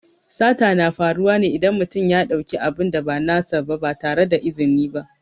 Sata na faruwa ne idan mutum ya ɗauki abin da ba nasa ba ba tare da izini ba.